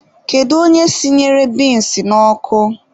Kedu onye sinyere binsi n'ọkụ?